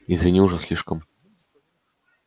извини уже слишком